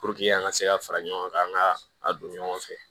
an ka se ka fara ɲɔgɔn kan an ka a don ɲɔgɔn fɛ